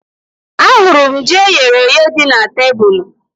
Ahụrụ m ji eyere èyé dị na tebụl